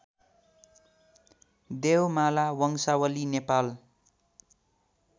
देवमाला वंशावली नेपाल